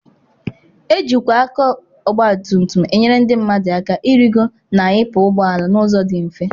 Ejikwa aka ọgbatumutum enyere ndị mmadụ aka ịrịgo na ịpụ ụgbọ ala n'ụzọ dị mfe.